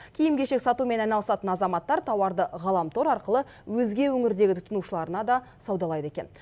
киім кешек сатумен айналысатын азаматтар тауарды ғаламтор арқылы өзге өңірдегі тұтынушыларына да саудалайды екен